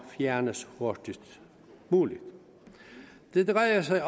fjernes hurtigst muligt det drejer sig